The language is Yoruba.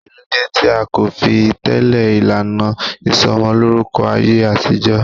Kí ló dé tí a kò fi tẹle ìlànà ìsomolórúkọ ayé àtijọ́?